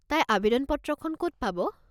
তাই আৱেদন পত্ৰখন ক'ত পাব?